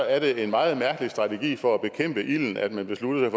er det en meget mærkelig strategi for at bekæmpe ilden at man beslutter